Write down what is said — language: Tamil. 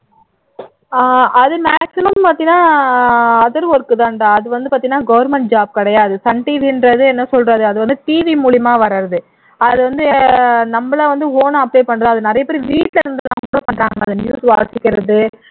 அது maximum பார்த்தீனா other work தான்டா அது வந்து பார்த்தீனா government job கிடையாது sun TV ன்றது என்ன சொல்றது அது வந்து TV மூலியமா வர்றது அது வந்து நம்மளா வந்து own ஆ apply பண்றது அது நிறைய பேர் வீட்ல இருந்து upload பண்றாங்க news வாசிக்கிறது